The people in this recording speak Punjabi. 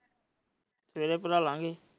ਸਵੇਰੇ ਭਰਾ ਲਾ ਗਏ।